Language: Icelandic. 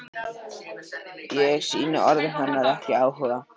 Ég sýni orðum hennar ekki áhuga.